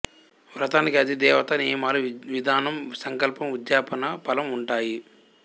వ్రతానికి అధిదేవత నియమాలు విధానం సంకల్పం ఉద్యాపన ఫలం ఉంటాయి